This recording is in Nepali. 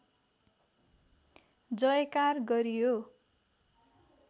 जयकार गरियो